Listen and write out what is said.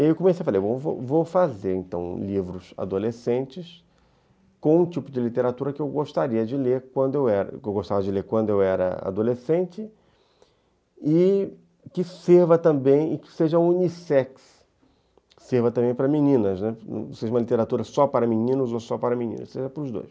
E aí eu comecei a fazer, vou vou fazer então livros adolescentes com o tipo de literatura que eu gostaria de ler quando eu era, que eu gostava de ler quando era adolescente e que seja unissex, que serva também para meninas, né, que não seja uma literatura só para meninos ou só para meninas, seja para os dois.